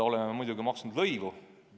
Sellele on muidugi tulnud lõivu maksta.